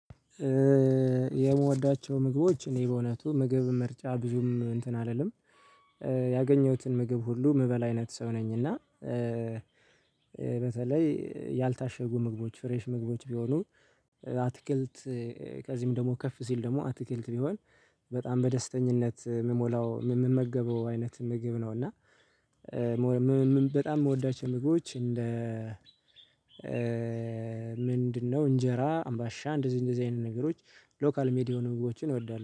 የምወዳቸው ምግቦች እኔ በእውነቱ ምግብ ምርጫ ብዙም እንትን አልልም ያገኘሁትን ምግብ ሁሉ የምበላ አይነት ሰው ነኝ። እና በተለይ ያልታሸጉ ምግቦች ፍሬሽ ምግቦች ቢሆኑ አትክልት ከዚህም ደግሞ ከፍ ሲል ደግሞ አትክልት ቢሆን በጣም በደስተኝነት የምሞላው የምመገበው አይነት ምግብ ነው። እና በጣም የምወዳቸው ምግቦች እንደ ምንድነው? እንጀራ አምባሻ እንደዚህ እንደዚህ አይነት ነገሮች ሎካል ሜዲ የሆኑ ምግቦች እወዳለሁ